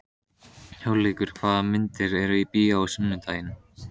Hugleikur, hvaða myndir eru í bíó á sunnudaginn?